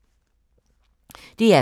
DR K